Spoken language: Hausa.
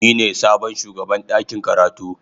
Ni ne sabon shugaban dakin karatu.